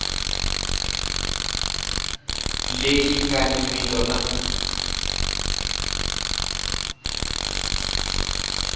leyi nga ni vito na